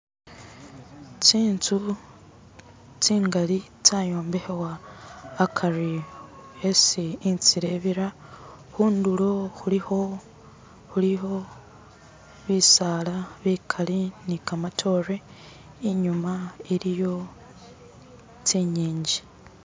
tsinzu tsingali tsayombekhebwa akari esi intzila ibira khundulo khulikho bisala bikali ni kamatore inyuma iliyo tsinginji